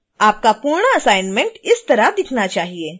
आपका पूर्ण असाइनमेंट इस तरह दिखना चाहिए